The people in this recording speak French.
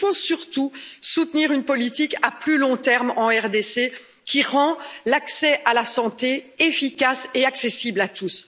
Mais il faut surtout soutenir une politique à plus long terme en RDC, qui rende l'accès à la santé efficace et accessible à tous.